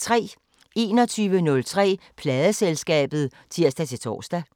21:03: Pladeselskabet (tir-tor)